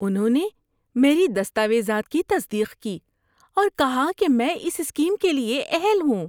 انہوں نے میری دستاویزات کی تصدیق کی اور کہا کہ میں اس اسکیم کے لیے اہل ہوں۔